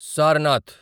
Sarnath